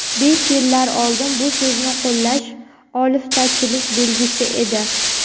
Besh yillar oldin bu so‘zni qo‘llash oliftachilik belgisi edi.